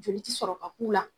Joli ti sɔrɔ ka k'u la